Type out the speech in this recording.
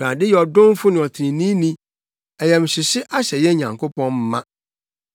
Awurade yɛ ɔdomfo ne ɔtreneeni; ayamhyehye ahyɛ yɛn Nyankopɔn ma.